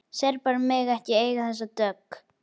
Serbarnir mega ekki eiga þessa dögg!